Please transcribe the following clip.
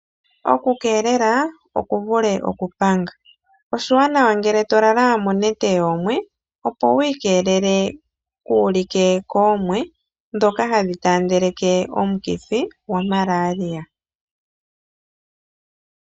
Okukeelela okuvule okupanga. Oshiwanawa ngele to lala monete yoomwe, opo wu ikelele kuu like koomwe ndhoka hadhi taandeleke omukithi gwaMalaria.